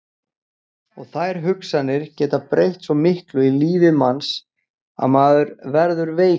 Og þær hugsanir geta breytt svo miklu í lífi manns að maður verður veikur.